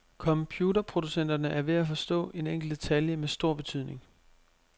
Computerproducenterne er ved at forstå en enkelt detalje med stor betydnig.